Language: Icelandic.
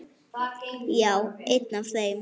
Já, einn af þeim